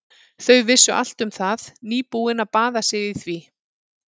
Þau vissu allt um það, nýbúin að baða sig í því.